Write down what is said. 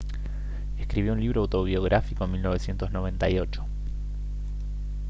escribió un libro autobiográfico en 1998